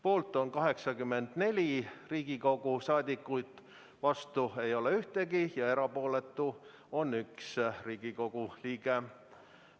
Poolt on 84 Riigikogu liiget, vastu ei ole ühtegi ja erapooletu on 1 Riigikogu liige.